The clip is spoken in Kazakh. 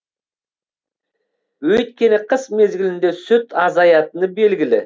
өйткені қыс мезгілінде сүт азаятыны белгілі